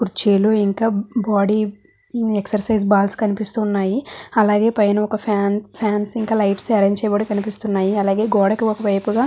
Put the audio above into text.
కుర్చీలు ఇంకా body exercise balls కనిపిస్తున్నాయి. అలాగే పైన ఒక ఫ్యాన్ ఫ్యాన్స్ ఇంకా లైట్స్ అరేంజ్ చేయబడి కనిపిస్తున్నాయి. అలాగే గోడకి ఒక వైపుగా --